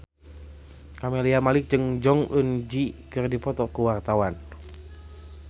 Camelia Malik jeung Jong Eun Ji keur dipoto ku wartawan